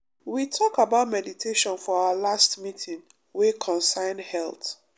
we talk about meditation for our last meeting wey concern health.